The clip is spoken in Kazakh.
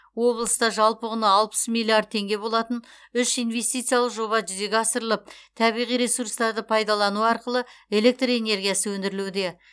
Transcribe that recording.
облыста жалпы құны алпыс миллиард теңге болатын үш инвестициялық жоба жүзеге асырылып табиғи ресурстарды пайдалану арқылы электр энергиясы өндірілуде